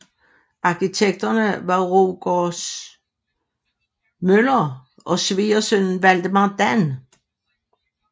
Arkitekterne var Rogert Møller og svigersønnen Valdemar Dan